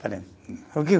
Falei, o que?